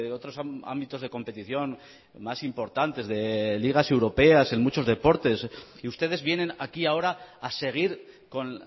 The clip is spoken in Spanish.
otros ámbitos de competición más importantes de ligas europeas en muchos deportes y ustedes vienen aquí ahora a seguir con